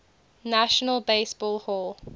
national baseball hall